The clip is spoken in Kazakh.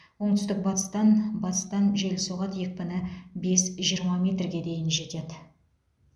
оңтүстік батыстан батыстан жел соғады екпіні бес жиырма метрге дейін жетеді